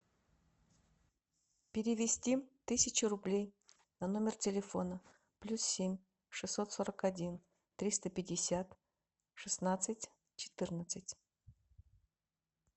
перевести тысячу рублей на номер телефона плюс семь шестьсот сорок один триста пятьдесят шестнадцать четырнадцать